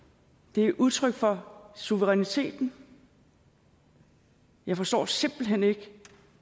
det er udtryk for suveræniteten jeg forstår simpelt hen ikke